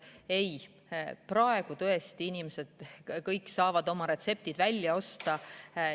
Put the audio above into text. Ei, praegu saavad tõesti kõik inimesed oma retseptid välja osta.